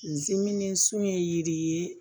Zimini sun ye yiri ye